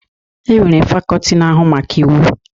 E nwere fakọọti nke na-ahụ maka Iwu.